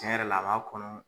Tiɲɛ yɛrɛ la a ba kɔnɔ.